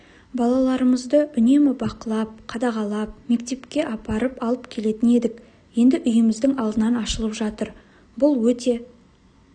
балаларымызды үнемі бақылап қадағалап мектепке апарып алып кететін едік енді үйіміздің алдынан ашылып жатыр бұл өте